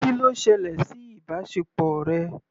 Kí ló ṣẹlẹ̀ sí ìbáṣepọ̀ rẹ?